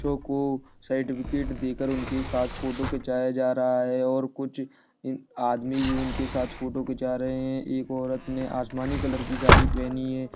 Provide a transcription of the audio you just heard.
को सार्टिफिकेट देकर उनके साथ फोटो खिचाया जा रहा है और कुछ आदमी भी उनके साथ फोटो खिंचा रहे हैं एक औरत ने आसमानी कलर की साड़ी पहनी है।